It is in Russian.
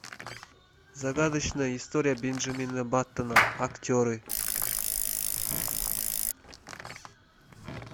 загадочная история бенджамина баттона актеры